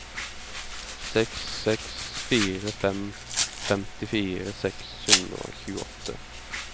seks seks fire fem femtifire seks hundre og tjueåtte